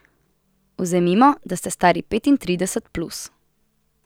Vzemimo, da ste stari petintrideset plus.